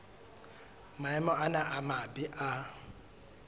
maemo ana a mabe a